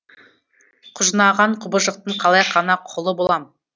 құжынаған құбыжықтың қалай ғана құлы болам